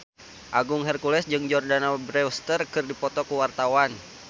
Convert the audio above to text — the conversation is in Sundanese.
Agung Hercules jeung Jordana Brewster keur dipoto ku wartawan